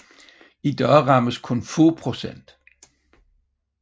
I dag rammes kun få procent